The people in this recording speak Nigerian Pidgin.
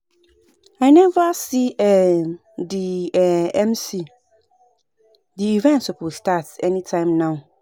I never see um the um MC and the event suppose start anytime now